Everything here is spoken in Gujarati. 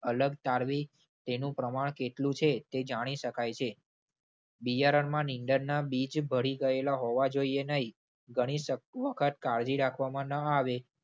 અલગ તારવી તેનું પ્રમાણ કેટલું છે તે જાણી શકાય છે. બિયારણમાં નીંદણના બીજ ભળી ગયેલા હોવા જોઈએ નહિ. ઘણી સવખત કાળજી રાખવામાં ન આવે